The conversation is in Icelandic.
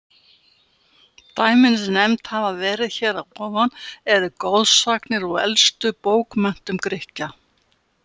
Dæmin, sem nefnd hafa verið hér að ofan, eru goðsagnir úr elstu bókmenntum Grikkja.